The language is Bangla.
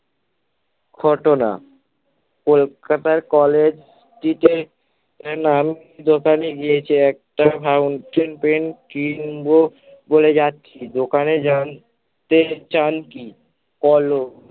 ঘটনা। কলকাতার college টিতে নাম ছিল দোকানে গিয়েছে একটা fountain pen কিনব বলে যাচ্ছি দোকানে জানতে চান কি কলম